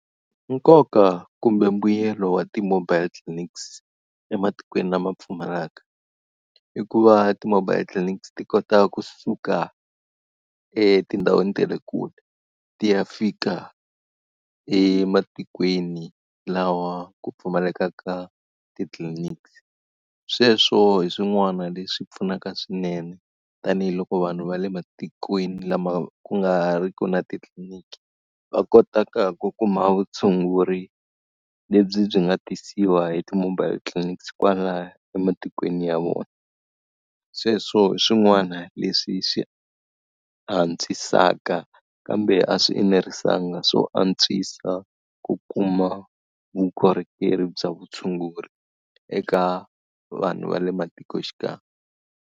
Nkoka kumbe mbuyelo wa ti-mobile clinics ematikweni lama pfumalaka, i ku va ti-mobile clinics ti kota kusuka etindhawini ta le kule ti ya fika ematikweni lawa ku pfumalekaka titliliniki. Sweswo hi swin'wana leswi pfunaka swinene, tanihiloko vanhu va le matikweni lama ku nga ri ki na titliliniki va kotaka ku kuma vutshunguri lebyi byi nga tisiwa hi ti-mobile clinics kwalaya ematikweni ya vona. Sweswo hi swin'wana leswi swi antswisaka kambe a swi enerisekanga swo antswisa ku kuma vukorhokeri bya vutshunguri eka vanhu va le matikoxikaya.